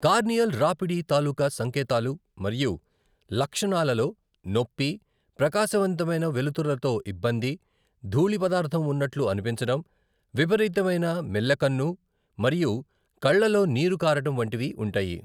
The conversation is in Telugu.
కార్నియల్ రాపిడి తాలూకా సంకేతాలు మరియు లక్షణాలలో నొప్పి, ప్రకాశవంతమైన వెలుతురులతో ఇబ్బంది, ధూళి పదార్థం ఉన్నట్లు అనిపించడం, విపరీతమైన మెల్లకన్ను మరియు కళ్లలో నీరు కారడం వంటివి ఉంటాయి.